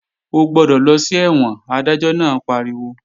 Ó gbọ́dọ̀ lọ sí ẹ̀wọ̀n! Adájọ́ náà pariwo